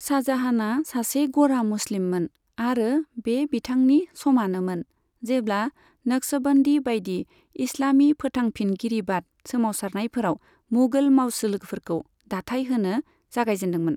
शाहजाहानआ सासे गरा मुस्लिममोन, आरो बे बिथांनि समानोमोन, जेब्ला नक्शबन्दी बायदि इस्लामी फोथांफिनगिरिबाद सोमावसारनायफोराव मुगल मावसोलोफोरखौ दाथाय होनो जागायजेन्दोंमोन।